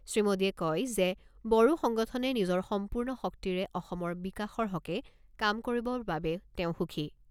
শ্ৰীমোদীয়ে কয় যে, বড়ো সংগঠনে নিজৰ সম্পূৰ্ণ শক্তিৰে অসমৰ বিকাশৰ হকে কাম কৰিব বাবে তেওঁ সুখী।